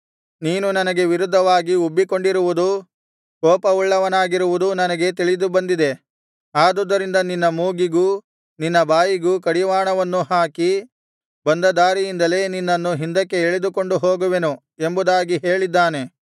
ನೀನು ನನಗೆ ವಿರುದ್ಧವಾಗಿ ಉಬ್ಬಿಕೊಂಡಿರುವುದೂ ಕೋಪವುಳ್ಳವನಾಗಿರುವುದೂ ನನಗೆ ತಿಳಿದು ಬಂದಿದೆ ಆದುದರಿಂದ ನಿನ್ನ ಮೂಗಿಗೂ ನಿನ್ನ ಬಾಯಿಗೂ ಕಡಿವಾಣವನ್ನೂ ಹಾಕಿ ಬಂದ ದಾರಿಯಿಂದಲೇ ನಿನ್ನನ್ನು ಹಿಂದಕ್ಕೆ ಎಳೆದುಕೊಂಡು ಹೋಗುವೆನು ಎಂಬುದಾಗಿ ಹೇಳಿದ್ದಾನೆ